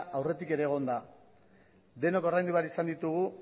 aurretik ere egon da denok ordaindu behar izan ditugu